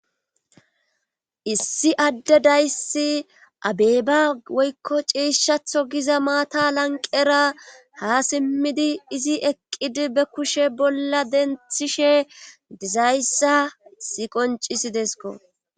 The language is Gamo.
issi adde dayssi abeba woykko ceeshshatho giza maata lanqera ha simmidi izi eqqidi be kushe bolla denthishe dizayssa siqoncisidesko